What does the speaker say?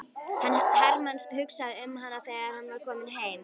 Hermann hugsaði um hana þegar hann var kominn heim.